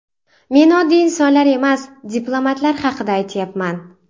Men oddiy insonlar emas, diplomatlar haqida aytyapman.